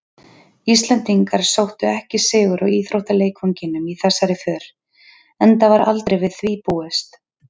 Íslendingar sóttu ekki sigur á íþróttaleikvanginum í þessari för, enda var aldrei við því búist.